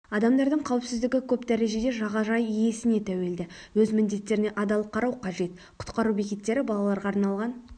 адамдардың қауіпсіздігі көп дәрежеде жағажай иесіне тәуелді өз міндеттеріне адал қарау қажет құтқару бекеттері балаларға арналған